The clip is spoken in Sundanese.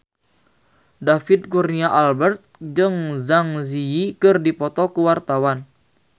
David Kurnia Albert jeung Zang Zi Yi keur dipoto ku wartawan